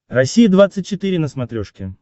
россия двадцать четыре на смотрешке